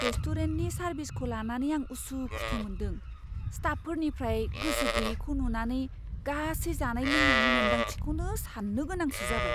रेस्टुरेन्टनि सारभिसखौ लानानै आं उसुखुथु मोनदों, स्टाफफोरनिफ्राय गोसो गैयैखौ नुनानै गासै जानाय लोंनायनि मोन्दांथिखौनो सान्नो गोनांसो जाबाय।